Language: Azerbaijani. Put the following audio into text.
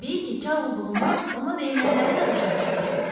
Təbii ki, kar olduğundan ona deyilənləri də başa düşmürdü.